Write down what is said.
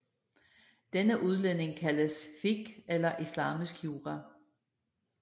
Denne udledning kaldes fiqh eller islamisk jura